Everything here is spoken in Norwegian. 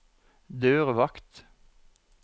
dørvakt